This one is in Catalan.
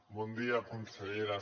bon dia consellera